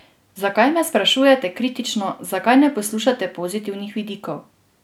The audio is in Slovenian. Zakaj me sprašujete kritično, zakaj ne poslušate pozitivnih vidikov?